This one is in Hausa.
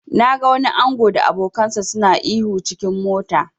Na ga wani ango da abokansa suna ihu s cikin mota.